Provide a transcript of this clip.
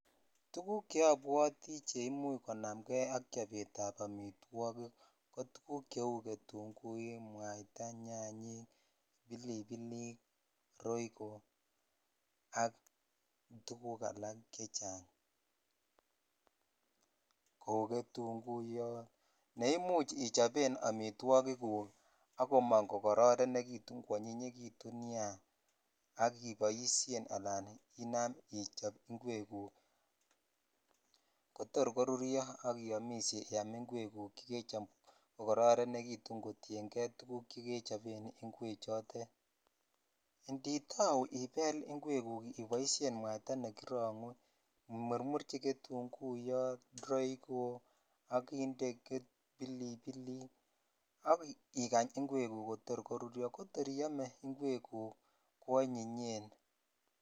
Tuguk cheobwoti che imuch konamkei ak chobet ab amitwokik tuk cheu ketunguik ,nwaita ,nyanyik ,bilibillik ,roiko ak tuguk alek chechang kou ketonguyot ne imuch ichopen amitwokik guk ak komong ko kororonekitun konyinyekitun nia ak iboishen ala inam ichop ingwek guk kotor koruryo ak iyomishe iyam ingwek guk chekechop kokorenekitun koyien jei tuguk che kechop ingwek chotet inditau iboishen ibel ibel iboishen mwaita ne kironguu imurmurchi ketunguyot ,roiko ak inde bilibilik ak ikany ingwek jotor koriryo ko tor iyome ingwek guk kwonyinyen.